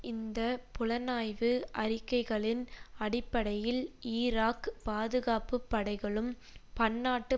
இந்த புலனாய்வு அறிக்கைகளின் அடிப்படையில் ஈராக் பாதுகாப்பு படைகளும் பன்னாட்டு